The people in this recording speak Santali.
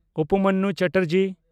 ᱩᱯᱚᱢᱚᱱᱱᱩ ᱪᱮᱴᱟᱨᱡᱤ